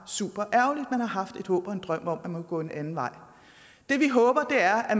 haft et håb og en drøm om at de kunne gå en anden vej det vi håber er at